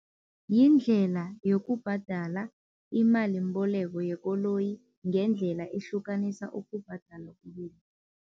Yindlela yokubhadala imalimboleko yekoloyi ngendlela ehlukanisa ukubhadala